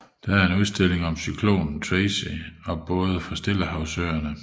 Der er en udstilling om cyklonen Tracy og både fra Stillehavsøerne